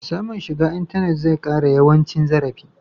Samun shiga intanet zai ƙara yawan cin zarafi.